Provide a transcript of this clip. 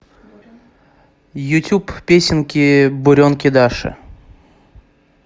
ютуб песенки буренки даши